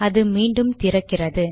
அது மீண்டும் திறக்கிறது